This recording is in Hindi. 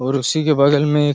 और उसी के बगल में एक--